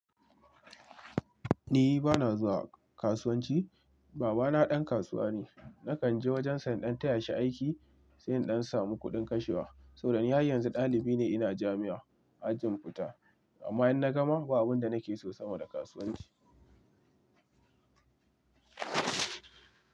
Ni bana zuwa kasuwanci. Baba na ɗan kasuwa ne. Nakan je wajen sa in ɗan taya shi aiki, sai in ɗan samu kuɗin kashewa. Saboda ni har yanzu ɗalibi ne ina jami'a, ajin fita. Amma in na gama, ba abin da nake so sama da kasuwanci.